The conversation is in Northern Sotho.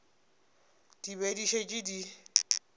di be di šetše di